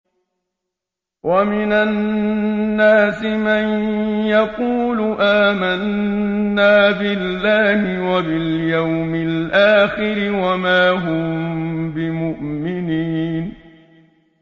وَمِنَ النَّاسِ مَن يَقُولُ آمَنَّا بِاللَّهِ وَبِالْيَوْمِ الْآخِرِ وَمَا هُم بِمُؤْمِنِينَ